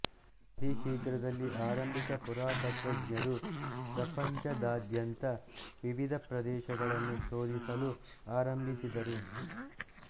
ಅತಿ ಶೀಘ್ರದಲ್ಲಿ ಆರಂಭಿಕ ಪುರಾತತ್ತ್ವಜ್ಞರು ಪ್ರಪಂಚದಾದ್ಯಂತದ ವಿವಿಧ ಪ್ರದೇಶಗಳನ್ನು ಶೋಧಿಸಲು ಆರಂಭಿಸಿದರು